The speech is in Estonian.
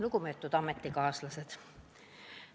Lugupeetud ametikaaslased!